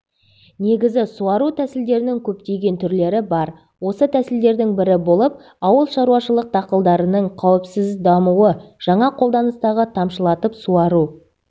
негізі суару тәсілдерінің көптеген түрлері бар осы тәсілдердің бірі болып ауылшаруашылық дақылдарының қауіпсіз дамуы жаңа қолданыстағы тамшылатып суару